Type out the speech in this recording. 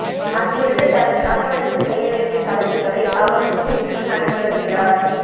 அங்கிருந்து தனது கணவருக்கு செய்ய வேண்டிய சடங்குகளை அவர் முன்னின்று நடத்தி வருகிறார்